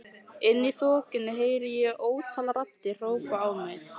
Inni í þokunni heyri ég ótal raddir hrópa á mig.